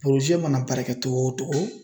porozɛ mana baarakɛ togo o togo